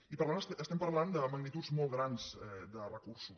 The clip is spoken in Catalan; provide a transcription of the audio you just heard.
i per tant parlem de magnituds molt grans de recursos